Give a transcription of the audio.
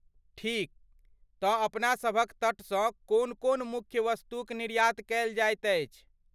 ठीक! तँ अपनासभक तटसँ कोन कोन मुख्य वस्तुक निर्यात कयल जाइत अछि?